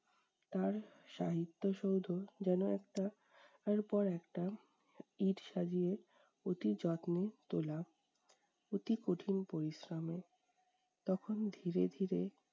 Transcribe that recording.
তার সাহিত্য সৌধ যেনো একটার পর একটা ইট সাজিয়ে অতি যত্নে তোলা। অতি কঠিন পরিশ্রমে। তখন ধীরে ধীরে